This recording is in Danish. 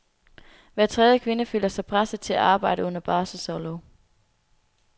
Hver tredje kvinde føler sig presset til at arbejde under barselsorlov.